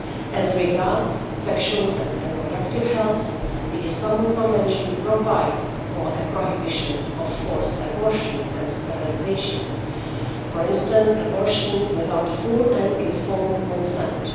As regards sexual and reproductive health, the Istanbul Convention provides for a prohibition of forced abortion and sterilisation, for instance, abortion without full and informed consent.